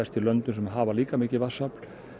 í löndum sem hafa líka mikið vatnsafl